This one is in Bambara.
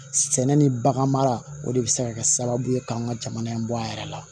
Sɛnɛ ni bagan mara o de bɛ se ka kɛ sababu ye k'an ka jamana in bɔ a yɛrɛ la